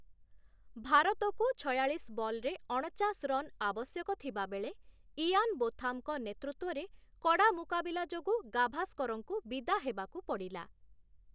ଭାରତକୁ ଛୟାଳିଶ ବଲ୍‌ରେ ଅଣଚାଶ ରନ୍ ଆବଶ୍ୟକ ଥିବାବେଳେ, ଇଆନ ବୋଥାମଙ୍କ ନେତୃତ୍ୱରେ କଡ଼ା ମୁକାବିଲା ଯୋଗୁଁ ଗାଭାସ୍କରଙ୍କୁ ବିଦା ହେବାକୁ ପଡ଼ିଲା ।